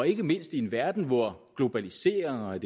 ikke mindst i en verden hvor globalisering og